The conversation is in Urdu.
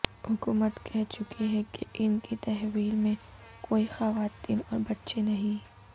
حکومت کہہ چکی ہے کہ ان کی تحویل میں کوئی خواتین اور بچے نہیں